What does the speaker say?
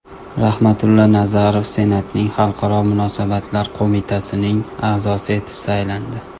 Rahmatulla Nazarov Senatning xalqaro munosabatlar qo‘mitasining a’zosi etib saylandi.